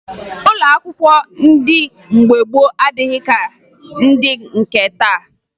Ụlọ akwụkwọ ndị mgbe gboo adịghị ka ndị nke taa